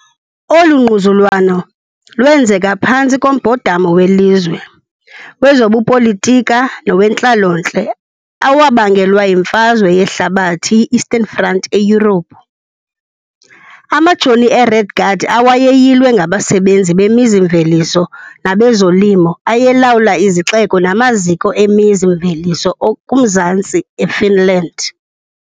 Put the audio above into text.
Olu ngquzulwano lwenzeka phantsi kombhodamo welizwe, wezobupolitika nowentlalontle awabangelwa yiMfazwe Yehlabathi, iEastern Front, eYurophu. Amajoni aRed Guard, awayeyilwe ngabasebenzi bemizi-mveliso nabezolimo, ayelawula izixeko namaziko emizi-mveliso okumzantsi eFinland.